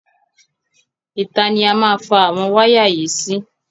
Ìta ni a má fa àwọn wáyà yìí sí.